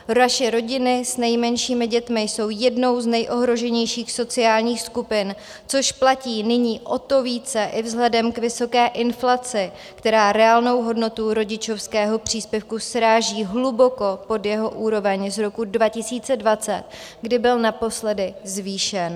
Naše rodiny s nejmenšími dětmi jsou jednou z nejohroženějších sociálních skupin, což platí nyní o to více i vzhledem k vysoké inflaci, která reálnou hodnotu rodičovského příspěvku sráží hluboko pod jeho úroveň z roku 2020, kdy byl naposledy zvýšen.